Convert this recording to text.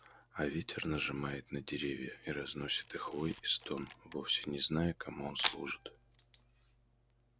а ветер нажимает на деревья и разносит их вой и стон вовсе не зная кому он служит